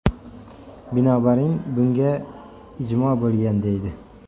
Binobarin, bunga ijmo‘ bo‘lgan”, deydi.